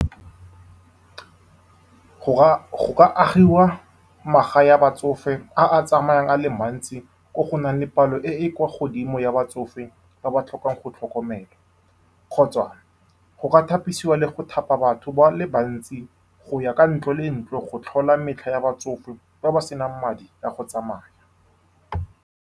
Go ka, go ka agiwa magae a batsofe a a tsamayang a le mantsi, ko go nang le palo e e kwa godimo ya batsofe ba ba tlhokang go tlhokomelwa. Gape, go ka thapisiwa le go thapa batho ba le bantsi go ya ka ntlo le ntlo go tlhola metlha ya batsofe ba ba senang madi a go tsamaya.